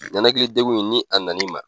Ɲanakilidengun nin a nana i ma.